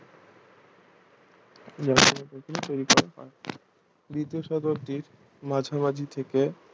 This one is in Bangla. দ্বিতীয় শতাব্দীর মাঝামাঝি থেকে